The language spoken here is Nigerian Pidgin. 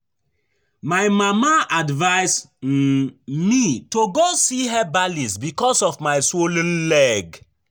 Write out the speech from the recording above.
My mama advice um me to go see herbalist because of my swollen leg